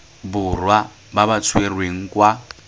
borwa ba ba tshwerweng kwa